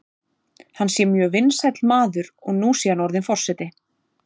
Hann sé mjög vinsæll maður og nú sé hann orðinn forseti.